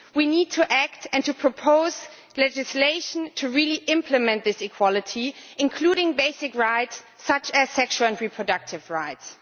we need to act and to propose legislation to really implement this equality, including basic rights such as sexual and reproductive rights.